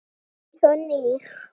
Eins og nýr.